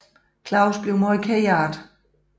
Claus bliver meget ked af det